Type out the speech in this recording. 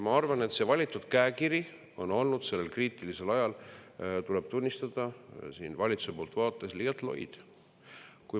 Ma arvan, et valitud käekiri on olnud sellel kriitilisel ajal, tuleb tunnistada, valitsuse vaates liialt loid.